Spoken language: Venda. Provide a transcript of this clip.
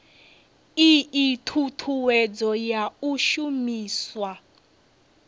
ii thuthuwedzo ya u shumiswa